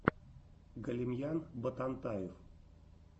галимьян ботантаев